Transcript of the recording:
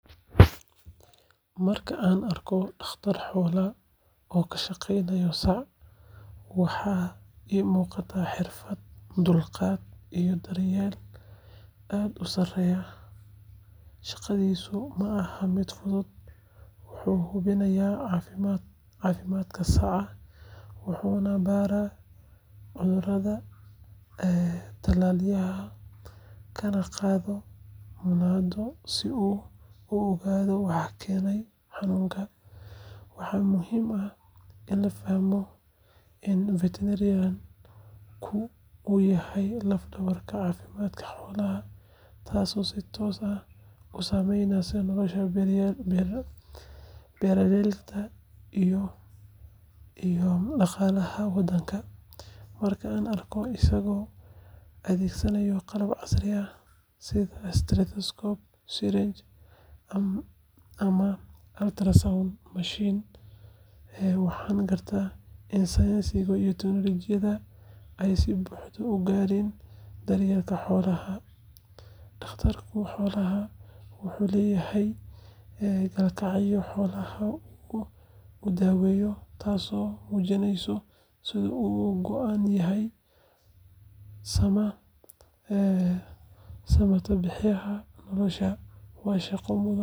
Marka aan arko dhakhtar xoolaad oo ka shaqeynaya sac, waxa iiga muuqda xirfad, dulqaad, iyo daryeel aad u sarreeya. Shaqadiisa ma aha mid fudud; wuxuu hubinayaa caafimaadka saca, wuxuuna baaraa cudurrada, talaalayaa, kana qaadaa muunado si uu u ogaado waxa keenaya xanuunka. Waxaa muhiim ah in la fahmo in veterinarian-ku uu yahay laf-dhabarka caafimaadka xoolaha, taasoo si toos ah u saameyneysa nolosha beeraleyda iyo dhaqaalaha waddanka. Marka aan arko isagoo adeegsanaya qalab casri ah sida stethoscope, syringe, ama ultrasound machine, waxaan gartaa in sayniska iyo teknoolojiyadda ay si buuxda u galeen daryeelka xoolaha. Dhakhtarka xoolaha wuxuu leeyahay kalgacayl xoolaha uu daweynayo, taasoo muujineysa sida uu uga go'an yahay samatabbixinta noloshooda. Waa shaqo mudan.